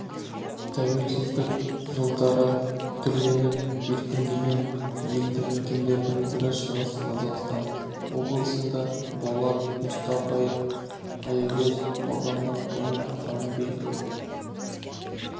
тәуелсіздік жылдары түрленіп өркендеген елді мекендердің бірі шығыс қазақстан облысында болат мұстафаев аягөз аудандық және автомобиль